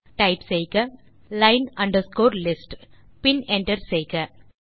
ஆகவே டைப் செய்க line underscore list பின் என்டர் செய்க